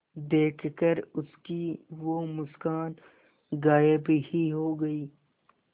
देखकर उसकी वो मुस्कान गायब ही हो गयी